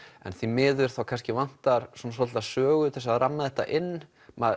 því miður vantar svolítið sögu til að ramma þetta inn